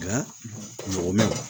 Nka mɔgɔ ma